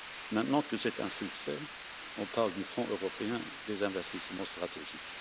Maintenant que c'est un succès, on parle du Fonds européen des investissements stratégiques.